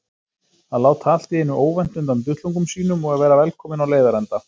Að láta allt í einu óvænt undan duttlungum sínum og vera velkominn á leiðarenda.